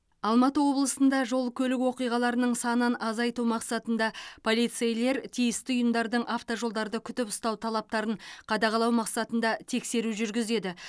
алматы облысында жол көлік оқиғаларының санын азайту мақсатында полицейлер тиісті ұйымдардың автожолдарды күтіп ұстау талаптарын қадағалау мақсатында тексеру жүргізеді